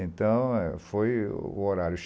Então, foi o horário.